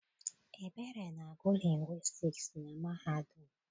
Ebere na-agụ lingwistiks na mahadum.